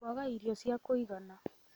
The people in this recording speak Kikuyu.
Kũaga irio cia kũigana: